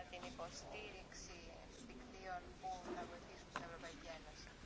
Nord Stream ist ein Projekt mit zwei Pipelines, die zweite wird in wenigen Wochen eingeweiht.